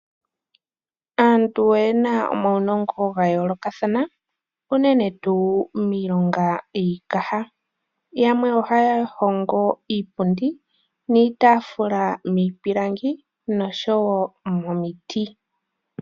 Aantu oyena omaunongo gayoolokathana unene tuu miilonga yiikaha yamwe ohaa hongo iipundi niitaafula miipilangi nosho woo momiti.